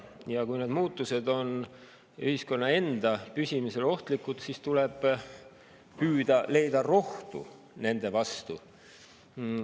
Ja kui need muutused on ühiskonna enda püsimisele ohtlikud, siis tuleb püüda leida rohtu nende vastu.